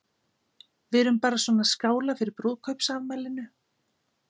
Við erum bara svona að skála fyrir brúðkaupsafmælinu.